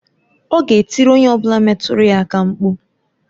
Ọ ga-etiri onye ọ bụla metụrụ ya aka mkpụ.